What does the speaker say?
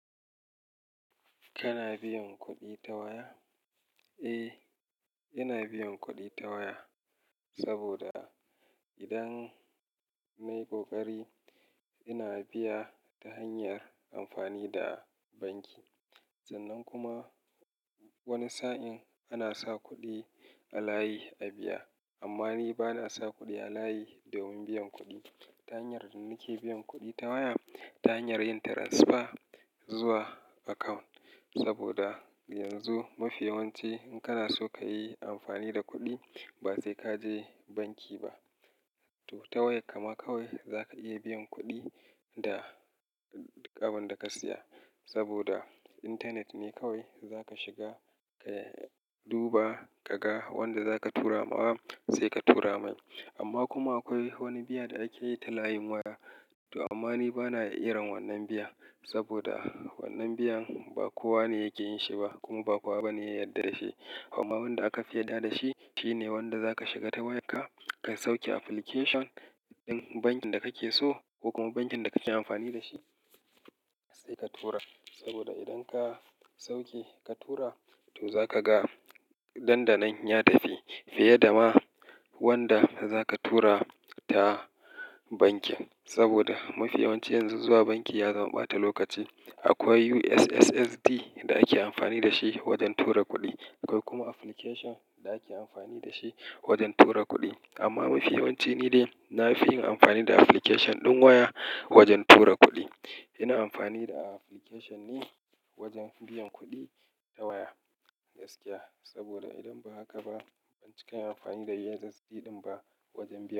Kana biyan kuɗi ta waya? Eh, ina biyan kuɗi ta waya. Saboda idan nayi ƙoƙari, ina biya ta hanyar amfani da banki. Sannan kuma wani sa'in ana sa kuɗi a layi a biya. Amma ni bana sa kuɗi a layi domin biyan kuɗi. Ta hanyar nake biyan kuɗi ta waya, ta hanyar yin transfer zuwa account. Saboda yanzu mafiyawanci in kana so kayi amfani da kuɗi, ba sai kaje banki ba. To ta waya ka ma kawai za ka iya biyan kuɗi da abin da ka siya. Saboda intanet ne kawai za ka shiga ka duba, ka ga wadda za ka tura ma sai ka tura mai. Amma kuma akwai wani biya da ake yi ta layin waya. To amma ni bana irin wannan biya. Saboda wannan biyan ba kowa ne yake yin shi ba, kuma ba kowa bane ya yarda da shi. Amma wadda aka fi yarda da shi, shine wadda za ka shiga ta wayarka, ka sauke application din bankin da kake so ko kuma bankin da kake amfani da shi sai ka tura. Saboda idan ka sauke ka tura to za ka ga dan da nan ya tafi fiye da ma wadda za ka tura ta banki. Saboda mafiyawanci yanzu zuwa banki ya zama ɓata lokaci. Akwai USSD da ake amfani da shi wajen tura kuɗi. Akwai kuma application da ake amfani da shi wajen tura kuɗi. Amma mafiyawanci ni dai na fi yin amfani da application din waya wajen tura kuɗi. Ina amfani da application ne wajen biyan kuɗi ta waya gaskiya. Saboda idan ba haka ba ban cika yin amfani da USSD ɗin ba wajen biya.